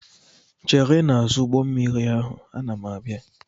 chere n'azụ ụgbọ mmiri ahụ, ana m abịa!